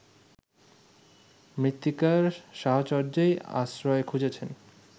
মৃত্তিকার সাহচর্যেই আশ্রয় খুঁজেছেন